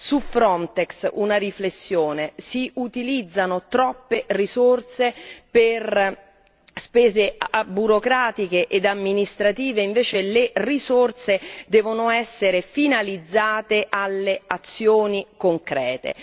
Su Frontex una riflessione si utilizzano troppe risorse per spese burocratiche e amministrative, invece le risorse devono essere finalizzate alle azioni concrete.